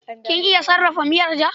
Kin iya sarrafa miyar ja?